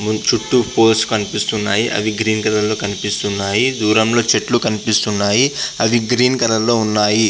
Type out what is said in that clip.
చుట్టూ పోల్స్ కనిపిస్తున్నాయ్ అవి గ్రీన్ కలర్ లో కనిపిస్తున్నాయ్ దూరం లో చెట్లు కనిపిస్తున్నాయ్ అవి గ్రీన్ కలర్ లో ఉన్నాయి.